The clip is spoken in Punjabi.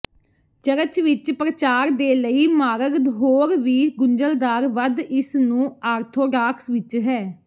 ਚਰਚ ਵਿਚ ਪ੍ਰਚਾਰ ਦੇ ਲਈ ਮਾਰਗ ਹੋਰ ਵੀ ਗੁੰਝਲਦਾਰ ਵੱਧ ਇਸ ਨੂੰ ਆਰਥੋਡਾਕਸ ਵਿੱਚ ਹੈ